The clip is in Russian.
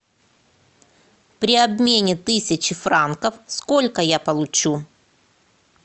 при обмене тысячи франков сколько я получу